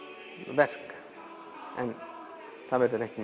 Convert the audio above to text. verk en það verður ekki